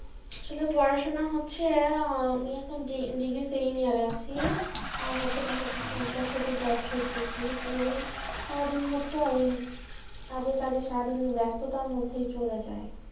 আসলে পড়াশুনা হচ্ছে আমি এখন D~degree second year এ আছি আর হচ্ছে পাশাপাশি একটা ছোটো job করতেসি তো ওই সারাদিন হচ্ছে আর এই কাজে কাজে সারাদিন ই ব্যস্ততার মধ্যে ই চলে যায়।